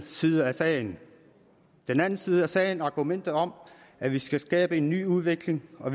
side af sagen den anden side af sagen er argumentet om at vi skal skabe en ny udvikling og